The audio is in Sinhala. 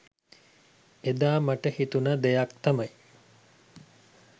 එදා මට හිතුණ දෙයක් තමයි